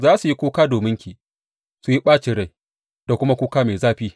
Za su yi kuka dominki su yi ɓacin rai da kuma kuka mai zafi.